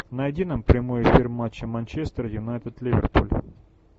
найди нам прямой эфир матча манчестер юнайтед ливерпуль